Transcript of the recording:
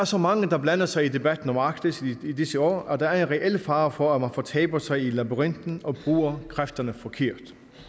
så mange der blander sig i debatten om arktis i disse år og der er en reel fare for at man fortaber sig i labyrinten og bruger kræfterne forkert